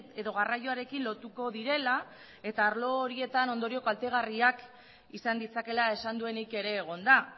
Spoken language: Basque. edo garraioarekin lotuko direla eta arlo horietan ondorio kaltegarriak izan ditzakeela esan duenik ere egon da